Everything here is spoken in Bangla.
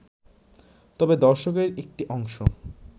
তবে দর্শকদের একটি অংশ